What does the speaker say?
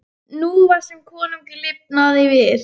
Nú var sem konungur lifnaði við.